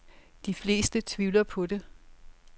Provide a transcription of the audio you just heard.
De fleste tvivler på det.